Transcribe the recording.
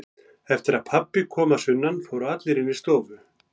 Eftir að pabbi kom að sunnan fóru allir inn í stofu.